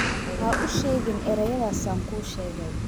Ha u sheegin erayadaas aan kuu sheegay